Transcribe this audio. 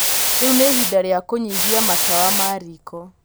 Rĩu nĩ ihinda rĩa kũnyihia matawa ma riko.